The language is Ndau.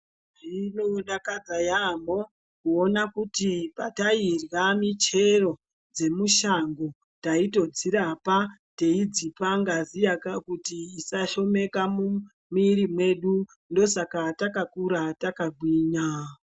Zvinodakadza yaambo kuona kuti patairya muchero dzemushango taitodzirapa teidzipa ngazi kuti isashomeka munwiri mwedu ndosaka takakura takagwinya.